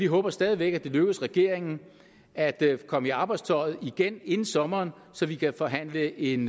håber stadig væk at det lykkes regeringen at komme i arbejdstøjet igen inden sommeren så vi kan forhandle en